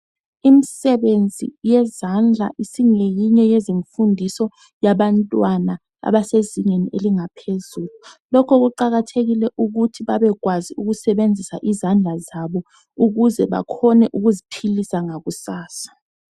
Imisebenzi yezandla isingeyinye yezimfundiso yabantwana abasezingeni eliphezulu lokho kuqakathekile ukuthi babekwazi ukusebenzisa izandla zabo ukuze bakwanise ukuziphilisa ngakusasa.